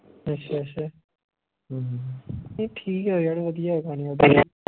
ਅੱਛਾ ਅੱਛਾ ਨਹੀਂ ਠੀਕ ਹੈ ਯਾਰ ਵਧੀਆ ਗਾਣੇ ਓਹਦੇ